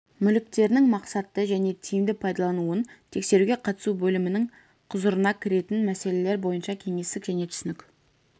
мүліктерінің мақсатты және тиімді пайдалануын тексеруге қатысу бөлімнің құзырына кіретін мәселелер бойынша кеңестік және түсінік